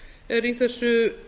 er í þessu